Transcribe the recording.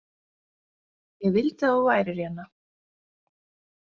Ég vildi að þú værir hérna.